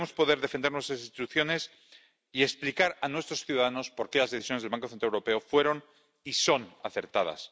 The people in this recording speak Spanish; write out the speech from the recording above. Debemos poder defender nuestras instituciones y explicar a nuestros ciudadanos por qué las decisiones del Banco Central Europeo fueron y son acertadas.